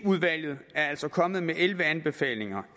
udvalget er altså kommet med elleve anbefalinger